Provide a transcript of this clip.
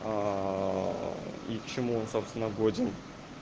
и к чему он собственно годен